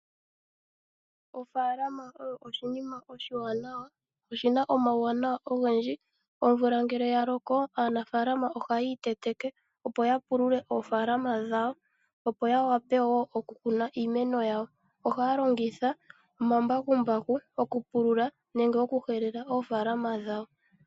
Ofaalama oyo oshinima oshiwanawa, oshi na omawuwanawa ogendji. Omvula ngele ya loko aanafalama ohayi iteteke, opo ya pulule oofaalama dhawo ya wape wo okukuna iimeno yawo, ohaya longitha omambakumbaku okupulula nenge okuhelela oofaalama dhawo.